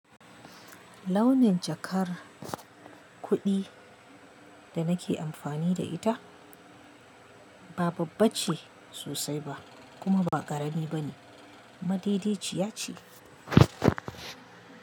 Launin jakar kuɗi da nake amfani da ita ba babbace sosai ba kuma ba ƙarami bane, madaidaiciya ce.